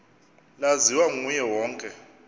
laziwa nguye wonke